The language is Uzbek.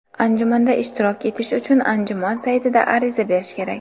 Anjumanda ishtirok etish uchun anjuman saytida ariza berish kerak.